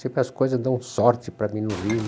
Sempre as coisas dão sorte para mim no Rio.